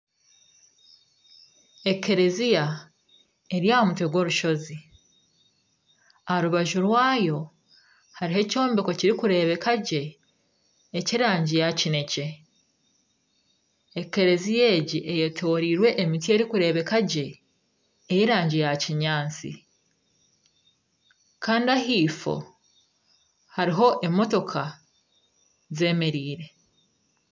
Ekereziya eri aha mutwe gw'orushizi. Aha rubaju rwayo hariho ekyombeko kirikurebeka gye eky'erangi ya kinekye. Ekereziya egi eyetoreirwe emiti erikureeba gye ey'erangi ya kinyaatsi kandi ahaifo hariho emotoka zemereire.